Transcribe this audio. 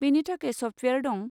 बेनि थाखाय सफ्टवेयार दं।